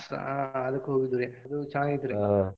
ಆಹ್ ಅದಕ್ಕ್ ಹೋಗಿದ್ದುರಿ ಅದು ಚನ್ನಾಗಿ ಇತ್ರಿ.